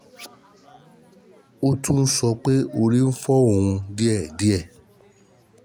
Ó tún sọ pé orí ń fọ́ orí ń fọ́ òun díẹ̀ díẹ̀